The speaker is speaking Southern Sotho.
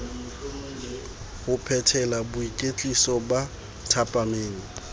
ho phethela boikwetliso ba thapameng